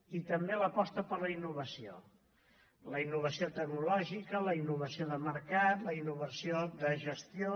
i també l’aposta per la innovació la innovació tecnològica la innovació de mercat la innovació de gestió